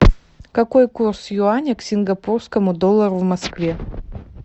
какой курс юаня к сингапурскому доллару в москве